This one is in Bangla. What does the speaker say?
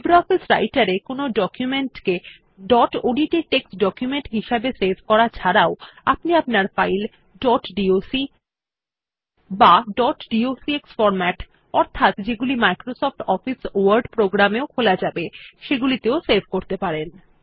লিব্রিঅফিস রাইটের এ ডকুমেন্ট কে ডট ওডিটি টেক্সট ডকুমেন্ট হিসাবে সেভ করা ছাড়াও আপনি আপনার ফাইল ডট ডক বা ডট ডক্স ফরম্যাট অর্থাৎ যেগুলি মাইক্রোসফট অফিস ওয়ার্ড প্রোগ্রাম এও খোলা যাবে সেগুলিতেও সেভ করতে পারেন